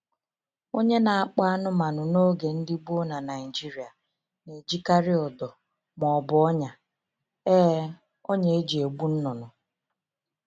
Onye na-akpọ anụmanụ n’oge ndị gboo na Naịjirịa na-ejikarị ụdọ ma ọ bụ ọnyà e ọnyà e ji egbu nnụnụ.